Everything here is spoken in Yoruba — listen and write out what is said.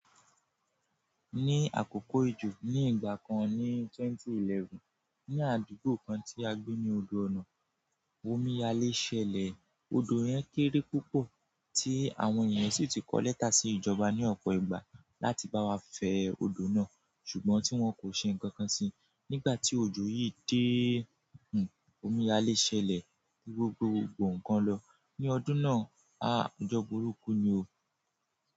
Ní àkókò òjò ní ìgbà kan ní 2011, ní àdúgbò kan tí a gbé ní odò ọ̀nà, omiyalé sèlè. Odò yẹn kéré púpọ̀ tí àwọn ènìyàn sì ti kọ lẹ́tà sí ìjọba ní ọ̀pọ̀ ìgbà láti bá wa fẹ́ odò náà ṣùgbọ́n tí wọ́n kò ṣe nǹkan kan sí. Nígbà tí òjò yìí dé, omiyalé sèlè omi gbe gbogbò ǹkan lọ. Ni ọdún náà, a ojọ burúkú ni o.